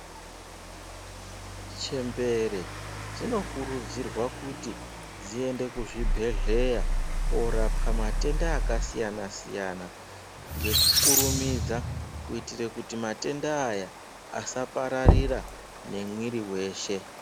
Chembere dzinokurudzirwa kuti dziende kuzvibhedhlera korapwa matenda akasiyanasiyana ngekukurumidza kuitira kuti matenda aya asaparadzira ngemwiri weshe .